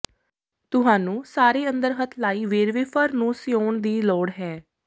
ਤੁਹਾਨੂੰ ਸਾਰੇ ਅੰਦਰ ਹੱਥ ਲਾਈ ਵੇਰਵੇ ਫਰ ਨੂੰ ਸਿਉਣ ਦੀ ਲੋੜ ਹੈ